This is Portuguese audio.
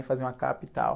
E faziam a capa e tal.